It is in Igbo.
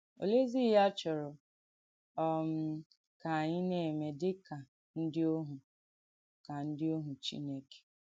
Òleèzì ìhé à chọ̀rọ̀ um kà ànyị̣ nà-èmè dì kà ndí òhù kà ndí òhù Chìnèkè?